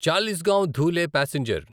Chalisgaon Dhule passenger